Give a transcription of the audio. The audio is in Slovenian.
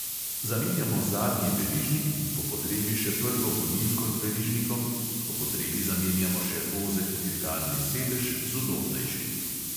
Zamenjamo zadnji verižnik in po potrebi še prvo gonilko z verižnikom, po potrebi zamenjajmo še ozek dirkalni sedež z udobnejšim.